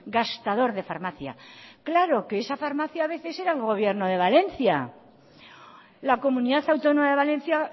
gastador de farmacia claro que esa farmacia a veces era el gobierno de valencia la comunidad autónoma de valencia